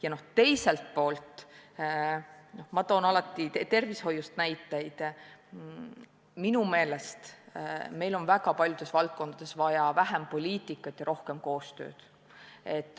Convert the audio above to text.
Ja teiselt poolt – ma toon alati tervishoiust näiteid –, minu meelest on meil väga paljudes valdkondades vaja vähem poliitikat ja rohkem koostööd.